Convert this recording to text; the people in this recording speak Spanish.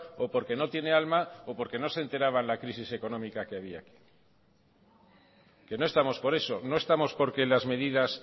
o porque no tiene alma o porque no se enteraban la crisis económica que había aquí que no estamos por eso no estamos porque las medidas